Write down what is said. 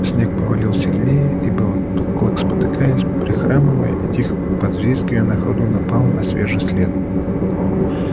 снег повалил сильнее и белый клык спотыкаясь прихрамывая и тихо подвизгивая на ходу напал на свежий след